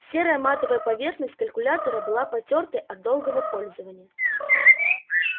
серая матовая поверхность калькулятора была потёртой от долгого пользования